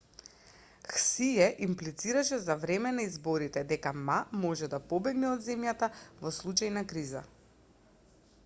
хсие имплицираше за време на изборите дека ма може да побегне од земјата во случај на криза